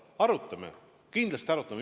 Arutame, kindlasti arutame!